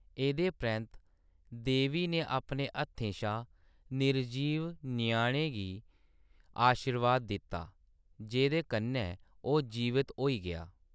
एह्‌‌‌दे परैंत्त, देवी ने अपने हत्थें शा निर्जीव ञ्याणे गी आशीर्वाद दित्ता, जेह्‌‌‌दे कन्नै ओह्‌‌ जीवत होई गेआ।